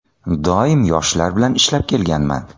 Doim yoshlar bilan ishlab kelganman.